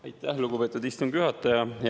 Aitäh, lugupeetud istungi juhataja!